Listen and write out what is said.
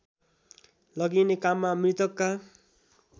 लगिने काममा मृतकका